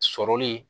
Sɔrɔli